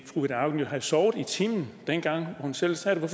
fru ida auken jo have sovet i timen dengang hun selv sad der